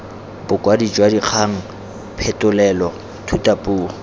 bokwadi jwa dikgang phetolelo thutapuo